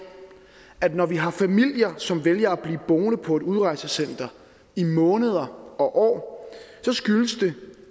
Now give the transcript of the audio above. at når vi har familier som vælger at blive boende på et udrejsecenter i måneder og år så skyldes det